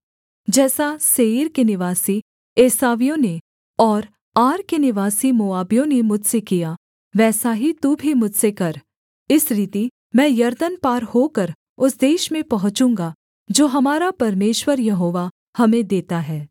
जैसा सेईर के निवासी एसावियों ने और आर के निवासी मोआबियों ने मुझसे किया वैसा ही तू भी मुझसे कर इस रीति मैं यरदन पार होकर उस देश में पहुँचूँगा जो हमारा परमेश्वर यहोवा हमें देता है